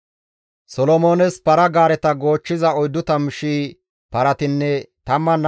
Solomoones para-gaareta goochchiza 40,000 paratinne 12,000 toga asati deettes.